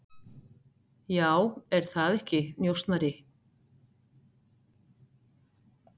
Já, er það ekki, njósnari?